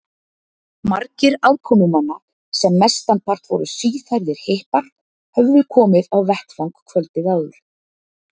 Margir aðkomumanna, sem mestanpart voru síðhærðir hippar, höfðu komið á vettvang kvöldið áður.